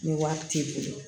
Ni wari t'i bolo